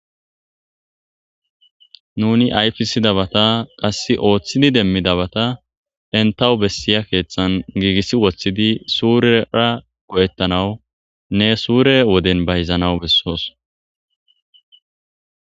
Nuni ayiffisidabata qasse oththidi demidabbata entawi bessiya keththan gigisi woththidi surera go'etanaw nne sure wodden bayizannaw besses.